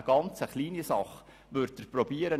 Das kann ich Ihnen garantieren.